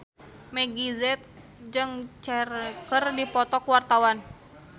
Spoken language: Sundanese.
Meggie Z jeung Cher keur dipoto ku wartawan